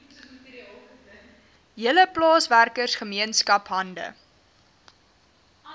hele plaaswerkergemeenskap hande